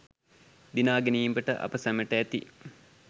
දිනා ගැනීමට අප සැමට ඇති